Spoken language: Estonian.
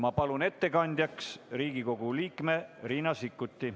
Ma palun ettekandjaks Riigikogu liikme Riina Sikkuti.